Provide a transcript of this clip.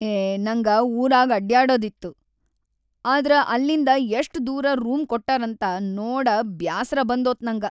ಏ, ನಂಗ ಊರಾಗ್ ಅಡ್ಡ್ಯಾಡದಿತ್ತು, ‌ಆದ್ರ ಅಲ್ಲಿಂದ ಯಷ್ಟ ದೂರ ರೂಮ್‌ ಕೊಟ್ಟಾರಂತ ನೋಡಾ ಬ್ಯಾಸ್ರ ಬಂದೋತ್ ನಂಗ.